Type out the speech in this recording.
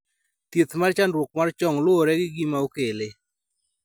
thieth mar chandruok mar chong luwore gi gima okele